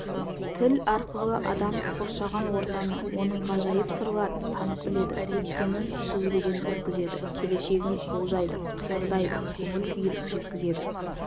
тіл арқылы адам қоршаған ортаны оның ғажайып сырларын танып біледі өткенін сүзгіден өткізеді келешегін болжайды қиялдайды көңіл-күйін жеткізеді